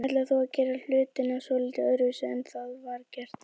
Ætlar þú að gera hlutina svolítið öðruvísi en var gert þá?